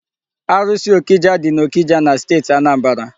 Arụsị ọkịja dị n'Ọkịja na steeti Anambra.